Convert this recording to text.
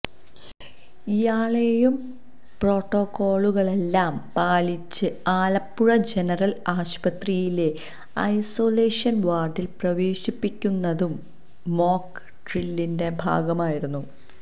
ഇയാളെയും പ്രോട്ടോക്കോളുകളെല്ലാം പാലിച്ച് ആലപ്പുഴ ജനറല് ആശുപത്രിയിലെ ഐസൊലേഷന് വാര്ഡില് പ്രവേശിപ്പിക്കുന്നതും മോക്ക് ഡ്രില്ലിന്റെ ഭാഗമായിരുന്നു